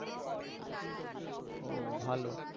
ও ভালো